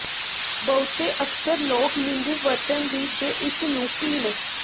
ਬਹੁਤੇ ਅਕਸਰ ਲੋਕ ਨਿੰਬੂ ਵਰਤਣ ਦੀ ਜ ਇਸ ਨੂੰ ਪੀਣ